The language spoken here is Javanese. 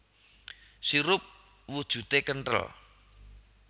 Sirup wujudé kenthel